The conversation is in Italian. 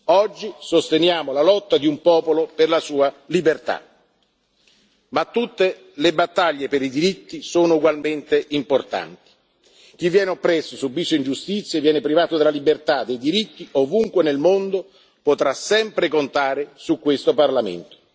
Oggi sosteniamo la lotta di un popolo per la sua libertà. Ma tutte le battaglie per i diritti sono ugualmente importanti. Chi viene oppresso, subisce ingiustizie e viene privato della libertà e dei diritti, ovunque nel mondo, potrà sempre contare su questo Parlamento.